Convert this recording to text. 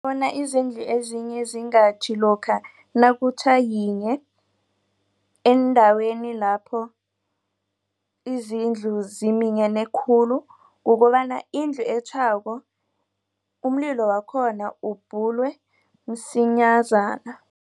Bona izindlu ezinye zingatjhi lokha nakutjha yinye eendaweni lapho izindlu zeminyene khulu kukobana indlu etjhako umlilo wakhona ubhujelwe msinyazana.